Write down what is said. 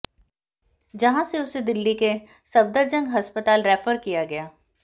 जहां से उसे दिल्ली के सफदरजंग अस्पताल रेफर किया गया